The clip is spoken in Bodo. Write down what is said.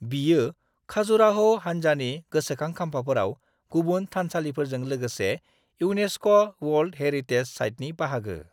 बियो खाजुराह' हान्जानि गोसोखां खाम्फाफोराव गुबुन थानसालिफोरजों लोगोसे इउनेस्क' वर्ल्ड हेरिटेज साइटनि बाहागो।